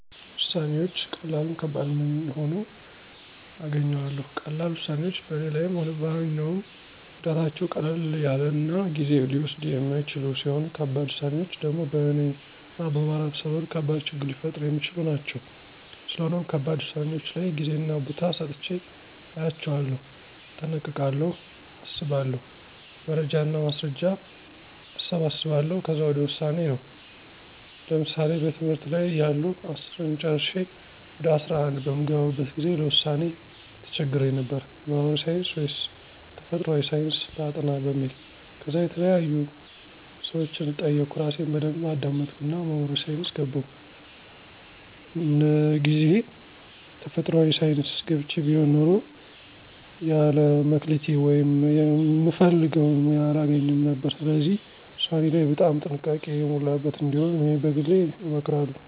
ውሳነወች ቀላልም ከባድም ሁኖ አገኘዋለሁ። ቀላል ውሳኔወች በኔ ላይም ሆነ በማንኛውም ጎዳታቸው ቀለል ያለናጊዜ ሊወስዱየ የማይችሉ ሲሆኑ ከባድ ውሳኔወች ደሞ በእነ እና በማህበረሰቡ ከባድ ችግር ሊፈጥሩ የሚችሉ ናቸው። ስለሆነም ከባድ ውሳኔወች ላይ ጌዜና ቦታ ሰጥቸ አያቸዋለሁ። እጠነቀቃለሁ አስባለሁ። መረጃና ማስረጃ አሰባስባለሁ ከዛ ወደ ውሳኔ ነው። ለምሳሌ በትምህርት ላይ እያለሁ አስርን ጨረሸ ወደ አስራ አንድ በምገባበት ጊዜ ለውሳኔ ተቸግሬ ነበር። ማህበራዊ ሳንስ ወይስ ተፈጥሮአዊ ሳንስ ላጥና በሚል። ከዛ የተለያዩ ሰወችን ጠየቅሁ እራሴን በደንብ አዳመጥሁና ማህበራዊ ሳይንስ ገባሁ። እንግዜ ተፈጥሯአዊ ሳንስ ገብቸ ቢሆን ኑሮ የለ መክሊቴ ወይም ምፈልገውን ሙያ አላገኝም ነበር። ስለዚህ ውሳኔ ላይ በጣም ጥንቃቄ የሞላበት እንዲሆን እኔ በግሌ እመክራለሁ